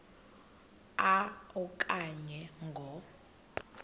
a okanye ngo